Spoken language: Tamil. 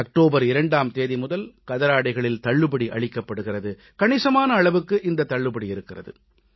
அக்டோபர் 2ஆம் தேதி முதல் கதராடைகளில் தள்ளுபடி அளிக்கப்படுகிறது கணிசமான அளவுக்கு இந்தத் தள்ளுபடி இருக்கிறது